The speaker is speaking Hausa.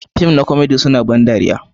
Fim na komedi suna ban dariya.